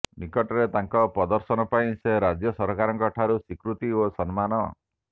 ନିକଟରେ ତାଙ୍କ ପ୍ରଦର୍ଶନ ପାଇଁ ସେ ରାଜ୍ୟ ସରକାରଙ୍କ ଠାରୁ ସ୍ୱିକୃତି ଓ ସମ୍ମାନ